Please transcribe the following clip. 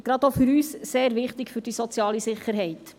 Gerade für uns ist sie wichtig für die soziale Sicherheit.